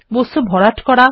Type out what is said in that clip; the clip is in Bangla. বস্তু ভরাট করা